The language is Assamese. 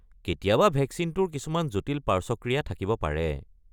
কেতিয়াবা ভেকচিনটোৰ কিছুমান জটিল পাৰ্শ্বক্ৰিয়া থাকিব পাৰে।